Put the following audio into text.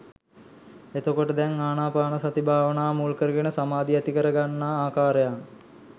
එතකොට දැන් ආනාපානසති භාවනාව මුල්කරගෙන සාමාධිය ඇතිකරගන්නා ආකාරයත්